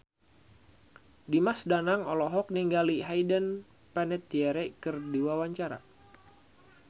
Dimas Danang olohok ningali Hayden Panettiere keur diwawancara